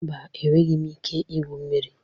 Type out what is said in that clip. Mba, enweghị m ike igwu mmiri.